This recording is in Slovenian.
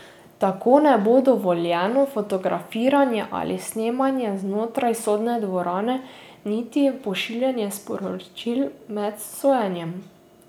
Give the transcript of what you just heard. Tako ne bo dovoljeno fotografiranje ali snemanje znotraj sodne dvorane niti pošiljanje sporočil med sojenjem.